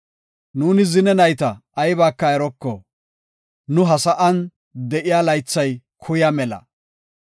Nuuni zine nayta aybaka eroko; nu ha sa7an de7iya laythay kuya mela.